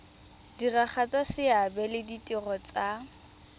diragatsa seabe le ditiro tsa